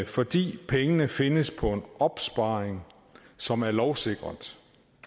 fordi pengene findes på en opsparing som er lovsikret